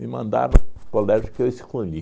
Me mandaram colégio que eu escolhi.